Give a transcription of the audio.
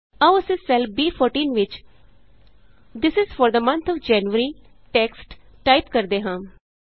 ਆਉ ਅਸੀਂ ਸੈੱਲ ਬੀ14 ਵਿਚ this I S for the month O F January text type ਕਰਦੇ ਹਾਂ